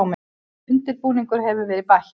Undirbúningi hefur verið hætt